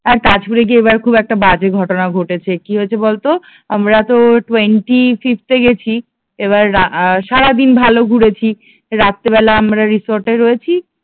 আর তাজপুরে গিয়ে এবার খুব বাজে একটা ঘটনা ঘটেছে কি হইছে বলতো? আমরা তো টোয়েন্টি ফিফথ এ গেছি এবার আহ সারাদিন ভালো ঘুরেছি রাত্রিবেলা আমরা রিসোর্ট এ রয়েছি